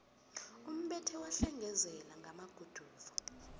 umbethe wahlengezele ngamaguduva